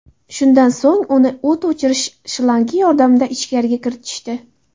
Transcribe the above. Shundan so‘ng uni o‘t o‘chirish shlangi yordamida ichkariga kiritishdi.